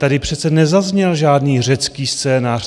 Tady přece nezazněl žádný řecký scénář.